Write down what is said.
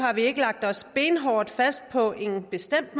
har vi ikke lagt os benhårdt fast på en bestemt